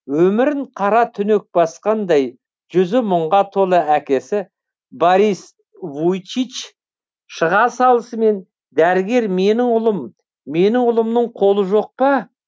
өмірін қара түнек басқандай жүзі мұңға толы әкесі борис вуйчич шыға салысымен дәрігер менің ұлым менің ұлымның қолы жоқ па